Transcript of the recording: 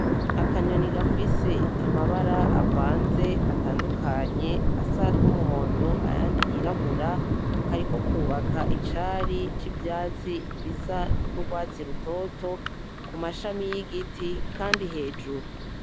Akanyoni gafise amabara avanze atandukanye asa numuhondo ayandi yirabura , kariko kubaka icari civyatsi gisa nurwatsi rutoto kumashami yigiti kandi hejuru.